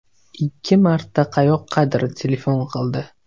Ikki marta qayoqqadir telefon qildi.